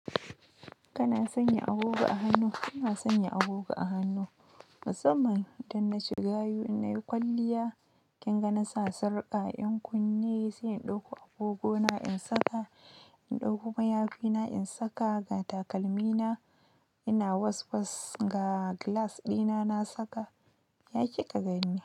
Kana sanya agogo a hannu, kana sanya agogo a hannu. Masamman idan na ci gayu in na yi kwalliya, kin ga na sa sarƙa, 'yan kunne sai in ɗauko agogona in saka, in ɗauko mayafina in saka ga takalmina ina waswas ga glass dina na saka, ya ki kagani.